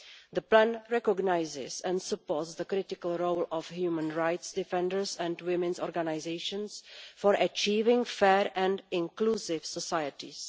The plan recognises and supports the critical role of human rights defenders and women's organisations in relation to achieving fair and inclusive societies.